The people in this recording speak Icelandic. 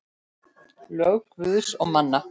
Lög Guðs og manna.